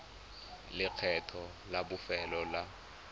le lekgetho la bofelo la